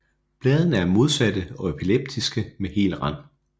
Bladene er modsatte og elliptiske med hel rand